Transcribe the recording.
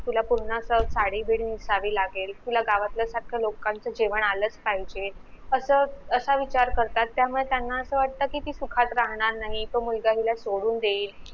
तुला पूर्ण अस साडी बिडी नेसावी लागेल तुला गावातलं सारख लोकांचं जेवण आलाच पाहिजे अस असा विचार करतात त्यामुळे त्यांना अस वाट कि ती सुखात राहणार नाही तो मुलगा हिला सोडून देईल